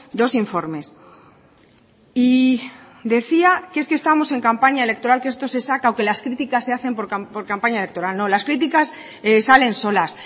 dos informes y decía que es que estamos en campaña electoral que esto se saca o que las críticas se hacen por campaña electoral no las críticas salen solas